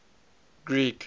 greek